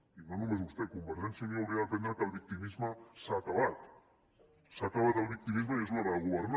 i no només vostè convergència i unió hauria d’aprendre que el victimisme s’ha acabat s’ha acabat el victimisme i és l’hora de governar